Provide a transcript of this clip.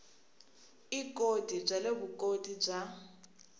ikoti bya le vuswikoti bya